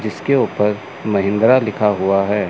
जिसके ऊपर महिंद्रा लिखा हुआ है।